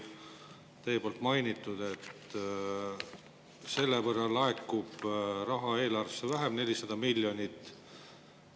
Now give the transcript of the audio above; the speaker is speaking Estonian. Te mainisite, et selle võrra laekuks raha eelarvesse 400 miljonit vähem.